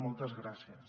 moltes gràcies